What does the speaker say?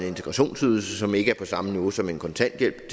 integrationsydelse som ikke er på samme niveau som en kontanthjælp